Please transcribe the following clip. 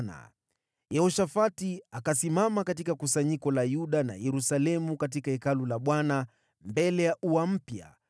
Kisha Yehoshafati akasimama katika kusanyiko la Yuda na Yerusalemu katika Hekalu la Bwana , mbele ya ua mpya,